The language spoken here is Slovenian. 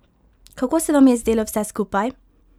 Kako se vam je zdelo vse skupaj?